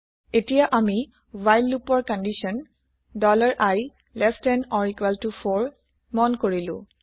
এতিয়া আমি হোৱাইল লোপৰ condition i less than or equal to 4 specify কৰিলো